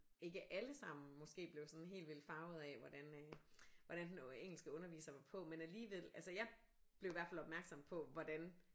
Ikke alle samme måske blev sådan helt vildt farvet af hvordan øh hvordan den engelske underviser var på men alligevel altså jeg blev i hvert fald opmærksom på hvordan